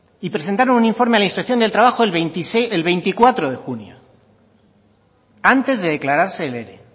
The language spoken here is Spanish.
y presentaron un informe a la inspección del trabajo el veinticuatro de junio antes de declararse el ere